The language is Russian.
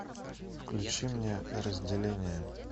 включи мне разделение